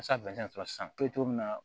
sisan